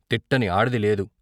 తిట్టని ఆడది లేదు.